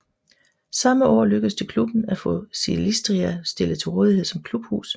Samme år lykkedes det klubben at få Silistria stillet til rådighed som klubhus